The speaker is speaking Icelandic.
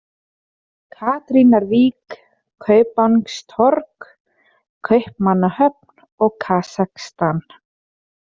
Katrínarvík, Kaupangstorg, Kaupmannahöfn, Kazakhstan